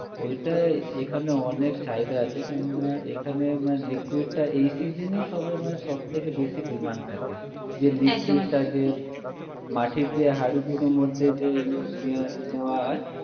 ঐটা এখানে অনেক চাহিদা আছে কিন্তু এখানে মানে liquid টা এই season এই মানে সবে সবথেকে বেশি demand থাকে একদম একদম liquid টা যে মাটির যে হাঁড়িগুলোর মধ্যে যে নেয়া নেওয়া হয়